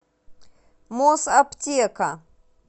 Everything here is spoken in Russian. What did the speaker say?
мосаптека